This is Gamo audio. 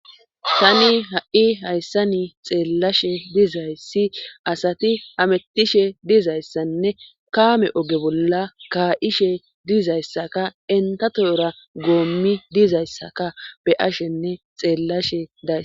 Tani ha'i hayssa ni xeellashe dizayssi asati hamettishe dizayssanne kaame oge bolla kaa'ishe dizayssaka entatoora goommi dizayssaka be ashenne xeellashe daays.